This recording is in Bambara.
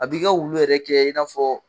A b'i ka wulu yɛrɛ kɛ i n'a fɔ.